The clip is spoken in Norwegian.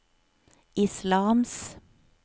islams